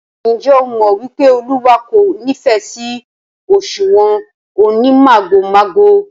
Ǹjẹ́ ẹ mọ̀ wípé Olúwa kò nífẹ̀ sí òṣùwọ̀n onímàgòmágò?